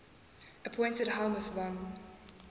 appointed helmuth von